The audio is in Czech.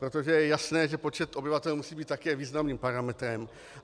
Protože je jasné, že počet obyvatel musí být také významným parametrem.